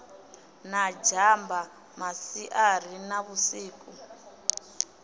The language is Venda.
na zhamba masiari na vhusiku